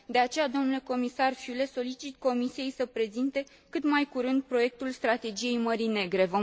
De aceea, domnule comisar Füle, solicit Comisiei să prezinte cât mai curând proiectul strategiei Mării Negre.